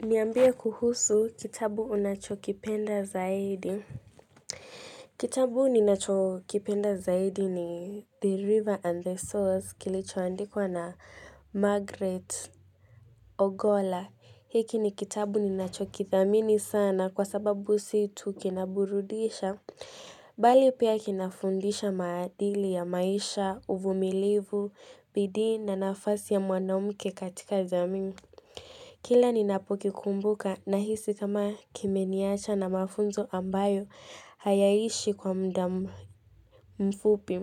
Niambie kuhusu kitabu unachokipenda zaidi. Kitabu ninachokipenda zaidi ni The River and the Source kilichoandikwa na Margaret Ogola. Hiki ni kitabu ninachokithamini sana kwa sababu sio tu kinaburudisha bali pia kinafundisha maadili ya maisha, uvumilivu, bidii na nafasi ya mwanamke katika jamii Kila ninapukikumbuka ninahisi kama kimeniwacha na mafunzo ambayo hayaishi kwa muda mfupi,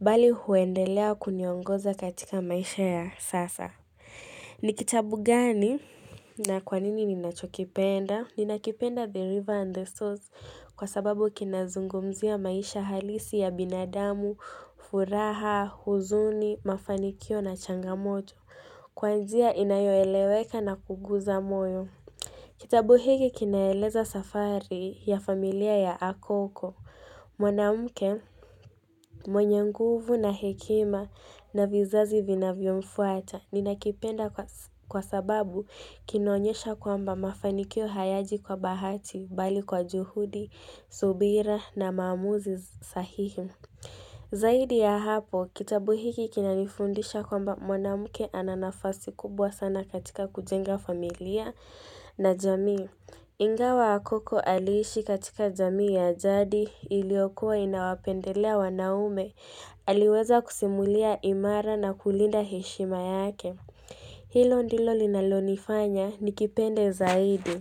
bali huendelea kuniongoza katika maisha ya sasa. Ni kitabu gani na kwanini ninakipenda? Ninakipenda The River and the Source kwa sababu kinazungumzia maisha halisi ya binadamu, furaha, huzuni, mafanikio na changamoto. Kwa njia inayoeleweka na kuguza moyo. Kitabu hiki kinaeleza safari ya familia ya Akoko. Mwanamke mwenye nguvu na hekima na vizazi vin vyomfuata. Ninakipenda kwa sababu kinaonyesha kwamba mafanikio hayaji kwa bahati bali kwa juhudi, subira na maamuzi sahihi. Zaidi ya hapo, kitabu hiki kinanifundisha kwamba mwanamke ana nafasi kubwa sana katika kujenga familia na jamii. Ingawa Akoko alishi katika jamii ya jadi iliokuwa inawapendelea wanaume. Aliweza kusimulia imara na kulinda heshima yake. Hilo ndilo linalonifanya nikipende zaidi.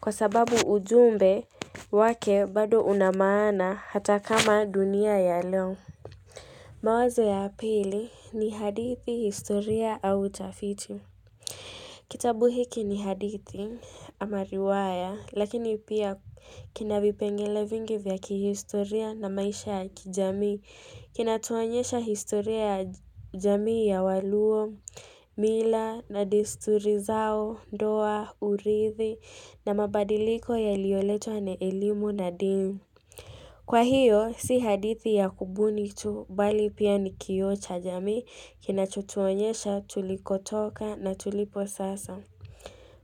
Kwa sababu ujumbe wake bado una maana hata kama dunia ya leo mawazo ya pili, ni hadithi, historia au tafiti. Kitabu hiki ni hadithi ama riwaya, lakini pia kina vipengele vingi vya kihistoria na maisha ya kijamii. Kinatuonyesha historia ya jamii ya waluo, mila na desturi zao, ndoa, urithi na mabadiliko yalioletwa na elimu na dini. Kwa hiyo, si hadithi ya kubuni tu, bali pia nikioo cha jamii, kinachotuonyesha tulikotoka na tulipo sasa.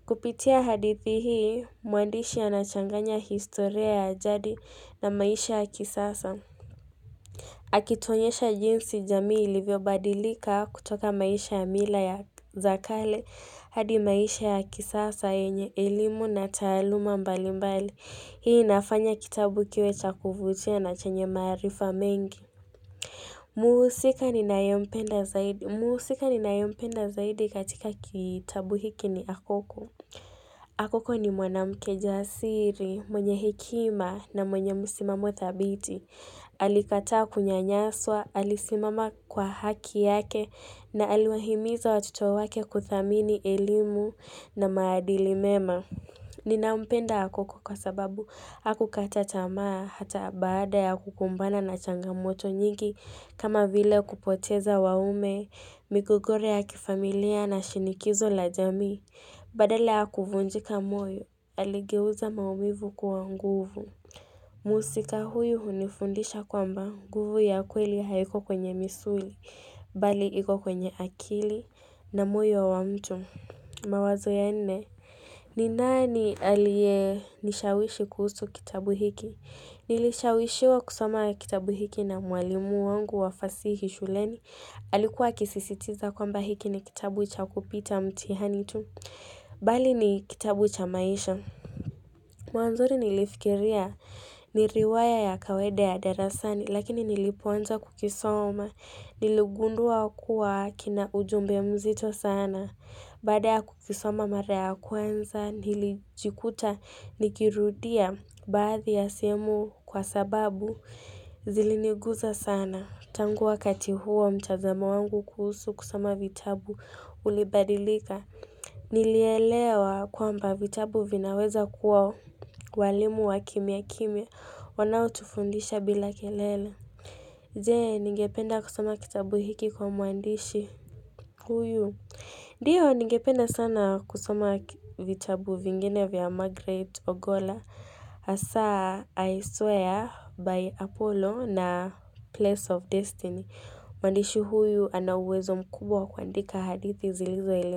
Kupitia hadithi hii, mwandishi anachanganya historia ya ajadi na maisha ya kisasa. Akituonyesha jinsi jamii ilivyobadilika kutoka maisha ya mila za kale hadi maisha ya kisasa yenye elimu na taaluma mbalimbali. Hii inafanya kitabu kiwe cha kuvutia na chanye maarifa mengi. Mhusika ninayempenda zaidi katika kitabu hiki ni Akoko. Akoko ni mwanamke jasiri, mwenye hekima na mwenye msimamo thabiti. Alikataa kunyanyaswa, alisimama kwa haki yake na aliwahimiza watoto wake kuthamini elimu na maadili mema. Ninampenda Akoko kwa sababu hakukata tamaa hata baada ya kukumbana na changamoto nyingi kama vike kupoteza wanaume, migogoro ya kifamilia na shinikizo la jamii Badala ya kuvunjika moyo, aligeuza maumivu kuwa nguvu. Mhusika huyu hunifundisha kwamba, nguvu ya kweli haiko kwenye misuli, bali kwenye akili na moyo wa mtu. Wazo la nne, ni nani aliyenishawishi kuhusu kitabu hiki? Nilishawishwa kusoma kitabu hiki na mwalimu wangu wa fasihi shuleni. Alikuwa akisisitiza kuwa hiki ni kitabu cha kupita mtihani tu. Bali ni kitabu cha maisha. Mwanzoni nilifikiri ni riwaya ya kawaida ya darasani lakini nilipoanza kukisoma, niligundua kuwa kina ujumbe mzito sana. Baada ya kukisoma mara ya kwanza, nilijikuta nikirudia baadhi ya sehemu kwa sababu ziliniguza sana. Tangu wakati huo, mtazamo wangu kuhusu kusoma vitabu ulibadilika. Nilielewa kwamba, vitabu vinaweza kuwa walimu wa kimyakimya wanao tufundisha bila kelele. Je? Ningependa kusoma kitabu hiki kwa mwandishi? Huyu, ndiyo ningependa sana kusoma vitabu vingine vya Margaret Ogola. Hasa, 'I swear by Apollo' na 'Place of Destiny'. Mwandishi huyu ana uwezo mkubwa wa kuandika hadithi zilizo.